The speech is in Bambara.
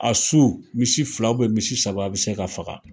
A su, misi fila misi saba be se ka faga.